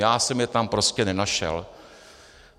Já jsem je tam prostě nenašel.